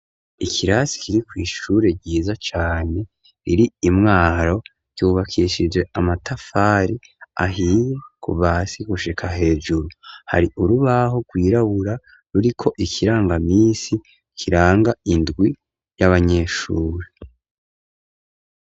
Ikirasi kiri kw'ishure ryiza cane riri i Mwaro ryubakishije amatafari ahiye kuva hasi gushika hejuru, hari urubaho rwirabura ruriko ikirangamisi kiranga indwi y'abanyeshure.